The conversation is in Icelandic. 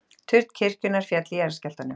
Turn kirkjunnar féll í jarðskjálftanum